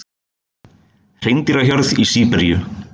Hreindýrahjörð í Síberíu.